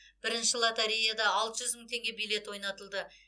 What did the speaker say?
бірінші лотереяда алты жүз мың теңге билет ойнатылды